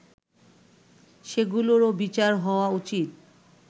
সেগুলোরও বিচার হওয়া উচিত